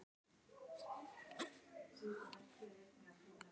Jákvæð afkoma í Borgarbyggð